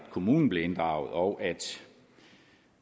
kommunen blev inddraget og